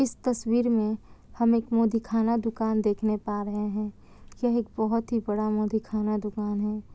इस तस्वीर में हम एक मुंह दिखाना दुकान देखने पा रहे हैं यह एक बहोत ही बड़ा मुंह दिखाना दुकान दुकान है।